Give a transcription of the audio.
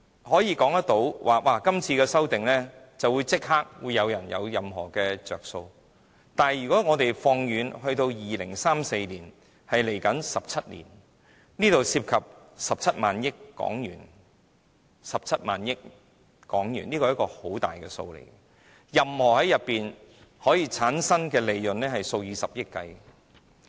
所以，我並非說今次的修正案會立即讓某些人得益，但如果我們看2034年，即17年後，當中涉及17萬億港元，這便是一個相當大的數目，可以產生的利潤是數以十億元計的。